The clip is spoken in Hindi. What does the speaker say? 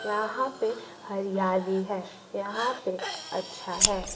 यहां पे हरियाली है यहां पे अच्छा है।